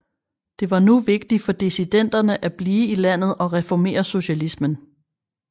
Det var nu vigtigt for dissidenterne at blive i landet og reformere socialismen